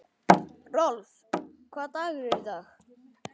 Rolf, hvaða dagur er í dag?